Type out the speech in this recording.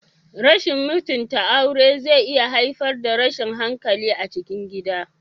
Rashin mutunta aure zai iya haifar da tashin hankali a cikin gida.